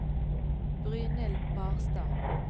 Brynhild Barstad